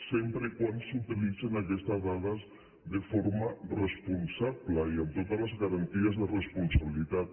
sempre que s’utilitzin aques·tes dades de forma responsable i amb totes les garanti·es de responsabilitat